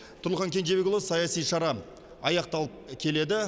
тұрлыхан кенжебекұлы саяси шара аяқталып келеді